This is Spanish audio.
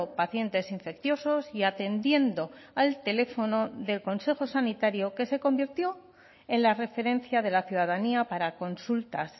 pacientes infecciosos y atendiendo al teléfono del consejo sanitario que se convirtió en la referencia de la ciudadanía para consultas